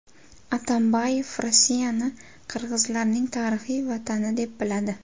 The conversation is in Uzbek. Atambayev Rossiyani qirg‘izlarning tarixiy vatani deb atadi.